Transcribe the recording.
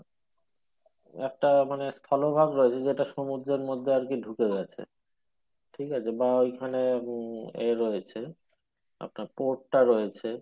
একটা মানে স্থলভাগ রয়েছে যেটা সমুদ্রের মধ্যে আরকি ঢুকে গেছে ঠিক আছে? বা ওইখানে উম এ রয়েছে আপনার টা রয়েছে